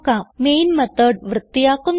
main method വൃത്തിയാക്കുന്നു